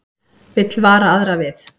Vill vara aðra við